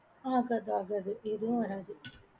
ஆகாது ஆகாது எதுவும் வராது.